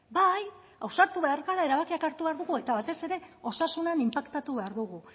bai ausartu behar gara erabakiak hartu behar dugu eta batez ere osasunean inpaktatu behar dugu